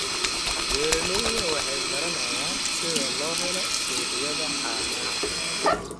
Beeraleydu waxay baranayaan sida loo helo suuqyada caanaha.